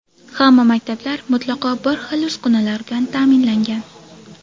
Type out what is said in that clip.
Hamma maktablar mutlaqo bir xil uskunalar bilan ta’minlangan.